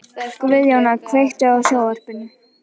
Guðjóna, kveiktu á sjónvarpinu.